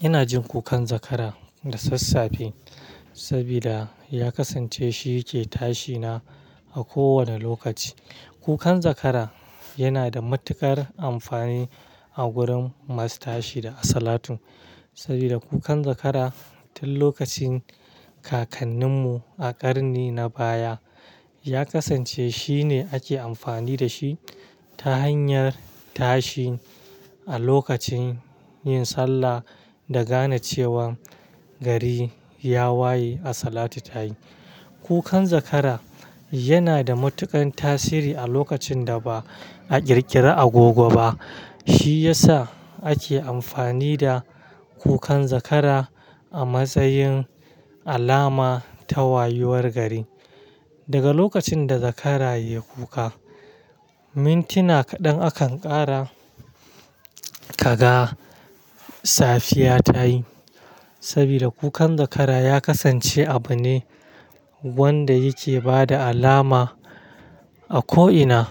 Ina jin kukan zakara da sassafe, saboda ya kasance shi ke tashi na a kowane lokaci. Kukan zakara yana da matuƙar amfani a gurin masu tashi daga salatu. Saboda kukan zakara, tun lokacin kakanninmu a ƙarni na baya ya kasance shine ake amfani da shi ta hanyar tashi a lokacin yin sallah da gane cewa gari ya waye assalatu tayi. Kukan zakara yana da matuƙan tasiri a lokacin da ba a ƙirƙiri agogo ba, shi ya sa ake amfani da kukan zakara a matsayin alama ta wayuwar gari. Daga lokacin da zakara ya yi kuka, mintina kaɗan akan ƙara kaga safiya tayi. Sabida kukan zakara ya kasance abu ne wanda yake bada alama a ko'ina.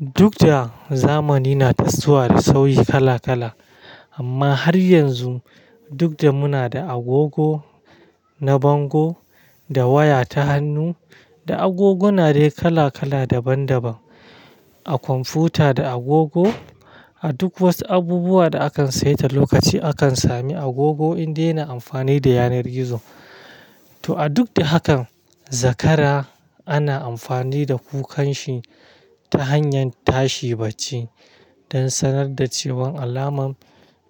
Duk da zamani na tasowa da sauyi kala kala, amma har yanzu duk da muna da agogo, na bango, da waya ta hannu, da agoguna dai kala kala daban daban, a kwamfuta da agogo a duk wasu abubuwa da akan saita lokaci, akan sami agogo indai yana amfani da yanar gizo. To a duk da hakan, zakara ana amfani da kukan shi ta hanyar tashi bacci don sanar da cewan alamar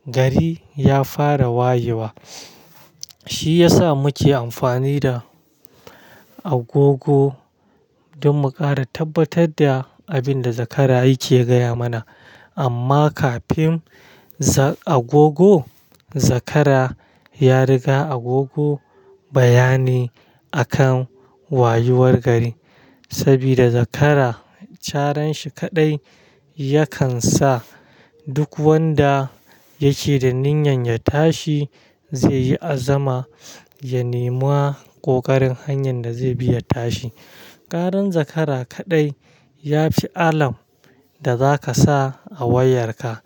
gari ya fara wayewa. Shi ya sa muke amfani da agogo don mu ƙara tabbatar da abin da zakara yake gaya mana. Amma kafin za-- agogo, zakara ya riga agogo bayani a kan wayuwar gari. Saboda zakara, cara shi kaɗai ya kan sa duk wanda yake da niyyar ya tashi zai yi azama ya nema ƙoƙarin hanyar da zai bi ya tashi. Karan zakara kaɗai ya fi alam da za ka sa a wayar ka,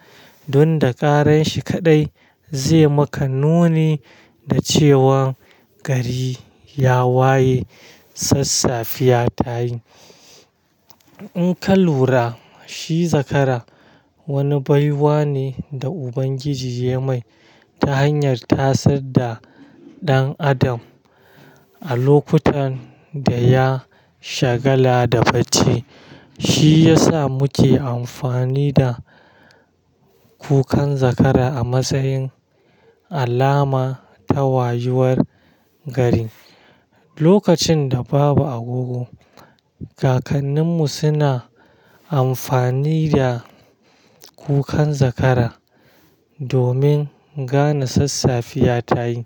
don da karan shi kaɗai zai maka nuni da cewa gari ya waye, sassafiya tayi. In ka lura, shi zakara wani baiwa ne da Ubangiji ya mai ta hanyar tasar da ɗan Adam a lokutan da ya shagala da bacci. Shi ya sa muke amfani da kukan zakara a matsayin alama ta wayuwar gari. Lokacin da babu agogo, kakanninmu suna amfani da kukan zakara domin gane sassafiya tayi.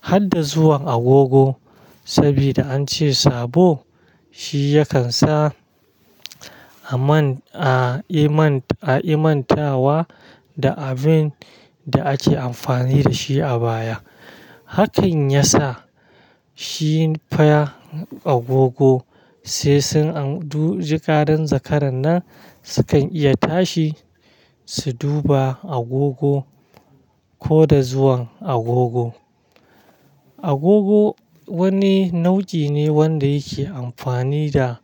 Har da zuwan agogo, saboda an ce sabo shi ya kan sa a man-- a iman, a ki mantawa da abin da ake amfani da shi a baya. Hakan ya sa shi fa agogo sai sun an-- duk jikaran zakaran nan su kan iya tashi su duba agogo ko da zuwan agogo. Agogo wani nau'i ne wanda yake amfani da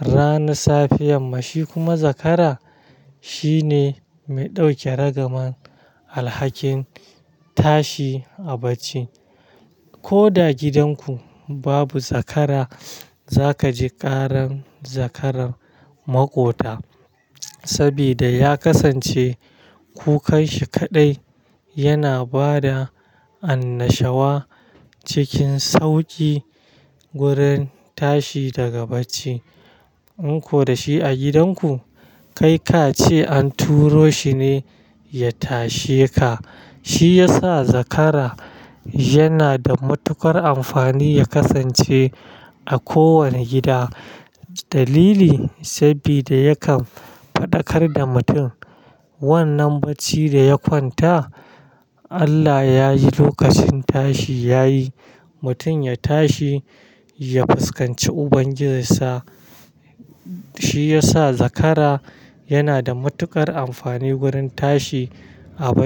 rana safiyan, ma shi kuma zakara shine mai ɗauke ragaman alhakin tashi a bacci. Ko da gidan ku babu zakara, za ka ji karan zakaran maƙota. Sabida ya kasance kukanshi kaɗai yana bada annashawa cikin sauƙi gurin tashi daga bacci. In ko da shi a gidan ku, kai ka ce an turo shi ne ya tashe ka. Shi ya sa zakara yana da matuƙar amfani ya kasance a kowane gida. Dalili, sabida yakan faɗakar da mutum wannan bacci da ya kwanta, Allah ya yi lokacin tashi ya yi, mutum ya tashi ya fuskanci Ubangijinsa. Shi ya sa zakara yana da matuƙar amfani gurin tashi a bacci.